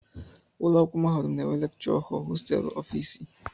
Ụlọakwụkwọ mahadum na-enwe lekchọ họl, hosteelụ, ọfịịsị